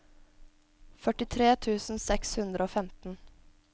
førtitre tusen seks hundre og femten